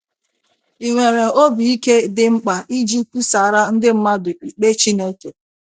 Ị nwere obi ike dị mkpa iji kwusaara ndị mmadụ ikpe Chineke?